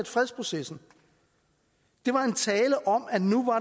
fredsprocessen det var en tale om at nu var